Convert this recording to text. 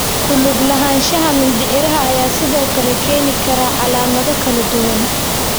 Ku lug lahaanshaha mindhicirka ayaa sidoo kale keeni kara calaamado kala duwan.